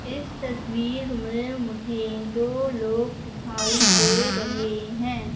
इस तस्वीर में मुझे दो लोग दिखाई दे रहे हैं।